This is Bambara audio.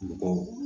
Mɔgɔw